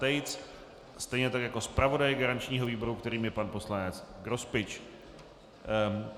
Tejc, stejně tak jako zpravodaj garančního výboru, kterým je pan poslanec Grospič.